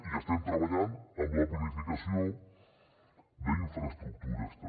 i estem treballant en la planificació d’infraestructures també